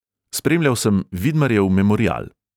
Spremljal sem vidmarjev memorial.